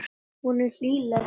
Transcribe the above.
Hún er hlýleg.